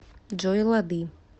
джой лады